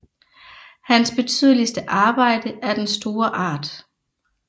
Hans betydeligste Arbejde er den store Art